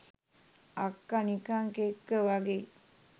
අක්ක නිකං කෙක්ක වගෙයි